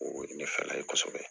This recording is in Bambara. O ye ne fala ye kosɛbɛ